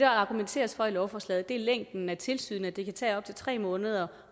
argumenteres for i lovforslaget er længden af tilsynet at det kan tage op til tre måneder